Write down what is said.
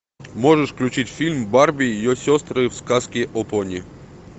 можешь включить фильм барби и ее сестры в сказке о пони